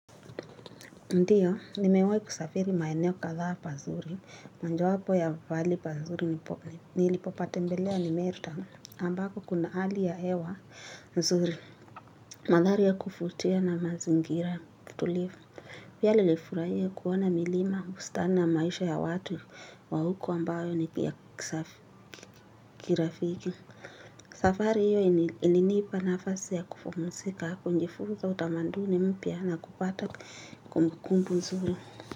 Ndio, nimewahi kusafiri maeneo kadhaa. Pazuri, moja wapo ya pahali pazuri nipo, nilipopatembelea ni Meru town, ambako kuna hali ya hewa. Nzuri, mandhari ya kuvutia na mazingira tulivu, pia nilifurahia kuona milima bustani na maisha ya watu wa huko ambayo ni ya kisafi, kirafiki. Safari hiyo ilinipa nafasi ya kupumzika kujifunza utamaduni mpya na kupata kumbukumbu nzuri.